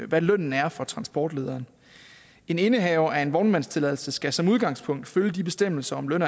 hvad lønnen er for transportlederen en indehaver af en vognmandstilladelse skal som udgangspunkt følge de bestemmelser om løn